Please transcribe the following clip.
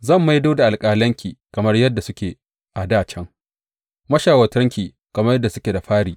Zan maido da alƙalanki kamar yadda suke a dā can, mashawartanki kamar yadda suke da fari.